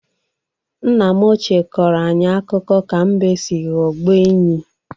Nna m ochịe kọrọ anyị akụkọ ka mbe si ghọgbuo enyí.